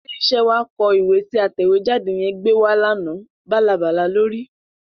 Ilé-iṣẹ́ wa kọ ìwé tí atẹ̀wéjáde yẹn gbé wá lánàá, bálabàla ló rí.